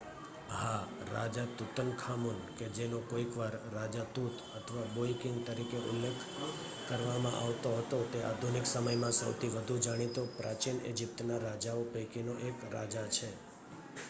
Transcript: "હા! રાજા તુતનખામુન કે જેનો કોઈકવાર "રાજા તુત" અથવા "બોય કિંગ" તરીકે ઉલ્લેખ કરવામાં આવતો હતો તે આધુનિક સમયમાં સૌથી વધુ જાણીતા પ્રાચીન ઈજીપ્તના રાજાઓ પૈકીનો એક રાજા છે.